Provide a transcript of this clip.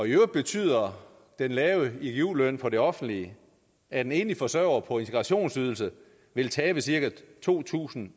i øvrigt betyder den lave igu løn for det offentlige at en enlig forsørger på integrationsydelse vil tabe cirka to tusind